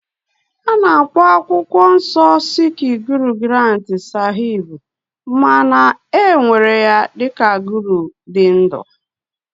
A na-akpọ akwụkwọ nsọ sikh Guru Granth sahib ma na-ewere ya dị ka Guru dị ndụ